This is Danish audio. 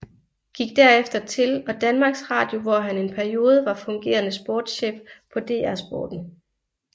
Gik derefter til og Danmarks Radio hvor han en periode var fungerende sportschef på DR Sporten